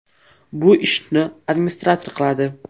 Bu ishni administrator qiladi.